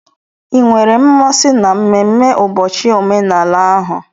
Ị nwere mmasị na mmemme ụbọchị omenala ahụ?